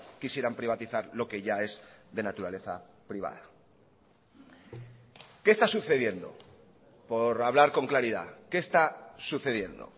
quisieran privatizar lo que ya es de naturaleza privada qué está sucediendo por hablar con claridad qué está sucediendo